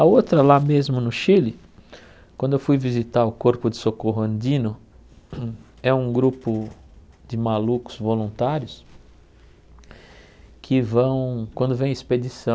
A outra, lá mesmo no Chile, quando eu fui visitar o Corpo de Socorro Andino, é um grupo de malucos voluntários que vão, quando vem expedição